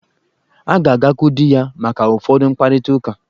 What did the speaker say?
Ọ ga-agakwuru di ya maka ụfọdụ mkparịta uka.